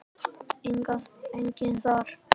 Enginn þar?